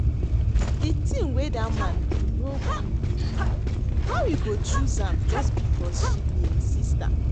The thing wey dat man do no good. How e go choose am just because she be im sister